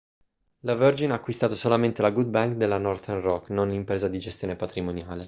la virgin ha acquistato solamente la good bank' della northern rock non l'impresa di gestione patrimoniale